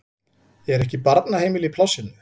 Er ekki barnaheimili í plássinu?